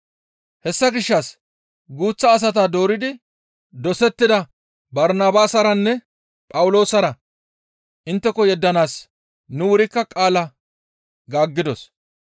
Hessa gishshas guuththa asata dooridi dosettida Barnabaasaranne Phawuloosara intteko yeddanaas nu wurikka qaala gaaggidos.